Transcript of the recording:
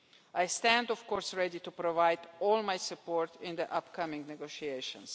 I stand, of course, ready to provide all my support in the upcoming negotiations.